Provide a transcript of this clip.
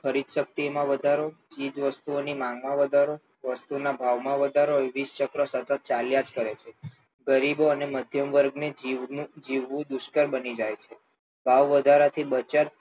ખરીદશક્તિમાં વધારો ચીજવસ્તુઓની માંગમાં વધારો વસ્તુના ભાવમાં વધારો એ વિષચક્ર સતત ચાલ્યા જ કરે છે ગરીબો અને મધ્યવર્ગને જીવવું દુષ્કર બની જાય છે ભાવવધારાથી બચત